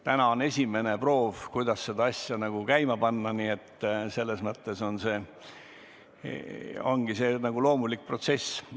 Täna on esimene proov, kuidas õnnestub see asi käima panna, nii et selles mõttes see on igati loomulik protsess.